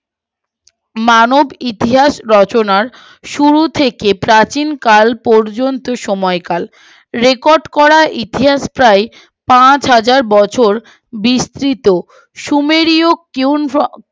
মানব ইতিহাস রচনার শুরু থেকে প্রাচীনকাল পর্যন্ত সময়কাল রেকর্ড করা ইতিহাস প্রায় পাঁচ হাজার বছর বিস্মৃত সুমেরীয় কুইন্জ অব